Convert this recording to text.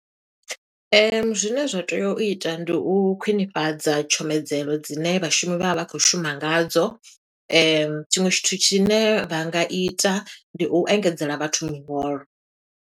Zwine zwa tea u ita, ndi u khwiṋifhadza tshomedzelo dzine vhashumi vha vha vha khou shuma nga dzo. Tshiṅwe tshithu tshine vha nga ita, ndi u engedzela vhathu miholo.